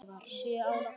Sjö ára gamlar.